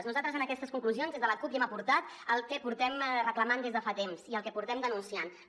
nosaltres en aquestes conclusions des de la cup hi hem aportat el que reclamem des de fa temps i el que denunciem